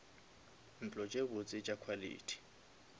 ntlo tše botse tša quality